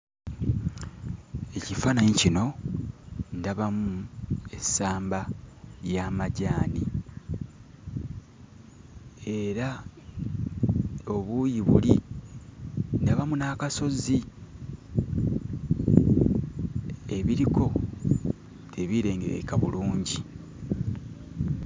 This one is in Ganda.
Ekifaananyi kino ndabamu essamba y'amajaani era obuuyi buli ndabamu n'akasozi ebiriko tebirengerekeka bulungi.